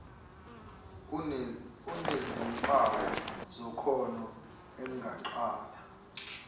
enezimpawu zekhono engaqala